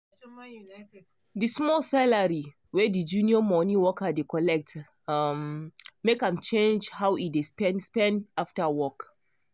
the small salary wey the junior money worker dey collect um make am change how e dey spend spend after work.